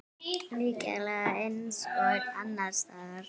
Líklega eins og annars staðar.